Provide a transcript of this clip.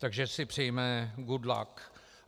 Takže si přejme good luck.